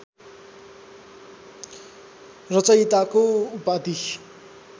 रचयिताको उपाधि